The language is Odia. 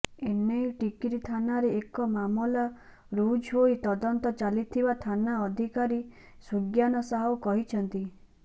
ଏନେଇ ଟିକିରି ଥାନାରେ ଏକ ମାମଲା ରୁଜୁହୋଇ ତଦନ୍ତ ଚାଲିଥିବା ଥାନା ଅଧିକାରୀ ସୁଗ୍ୟାନ ସାହୁ କହିଛନ୍ତି